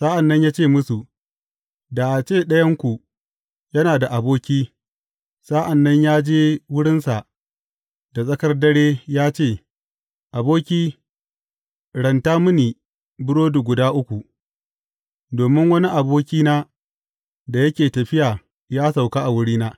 Sa’an nan ya ce musu, Da a ce ɗayanku yana da aboki, sa’an nan ya je wurinsa da tsakar dare ya ce, Aboki, ranta mini burodi guda uku, domin wani abokina da yake tafiya ya sauka a wurina.